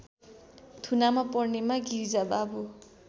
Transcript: थुनामा पर्नेमा गिरिजाबाबु